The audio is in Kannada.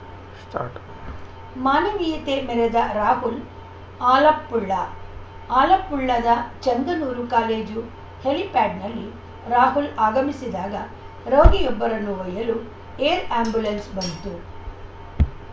ಸ್ಟಾರ್ಟ್ ಮಾನವೀಯತೆ ಮೆರೆದ ರಾಹುಲ್‌ ಆಲಪ್ಪುಳ ಆಲಪ್ಪುಳದ ಚೆಂಗನ್ನೂರು ಕಾಲೇಜು ಹೆಲಿಪ್ಯಾಡ್‌ನಲ್ಲಿ ರಾಹುಲ್‌ ಆಗಮಿಸಿದಾಗ ರೋಗಿಯೊಬ್ಬರನ್ನು ಒಯ್ಯಲು ಏರ್‌ ಆ್ಯಂಬುಲೆನ್ಸ್‌ ಬಂತು